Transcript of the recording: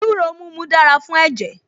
Ewúro mímu dára fún ẹ̀jẹ̀